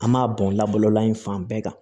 An m'a bɔn labalola in fan bɛɛ kan